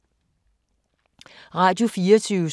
Radio24syv